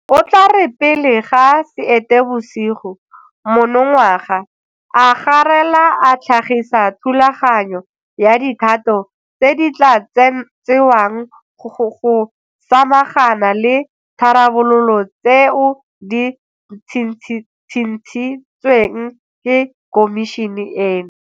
O tla re pele ga Seetebosigo monongwaga a garela a tlhagisa thulaganyo ya dikgato tse di tla tsewang go samagana le ditharabololo tseo di tshitshintsweng ke Khomišene eno.